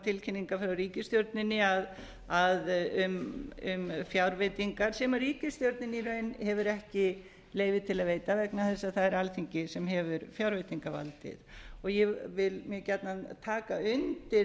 tilkynningar frá ríkisstjórninni um fjárveitingar sem ríkisstjórnin í raun aftur ekki leyfi til að veita vegna þess að það er alþingi sem hefur fjárveitingavaldið ég vil mjög gjarnan taka undir